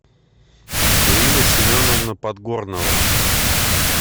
ирина семеновна подгорнова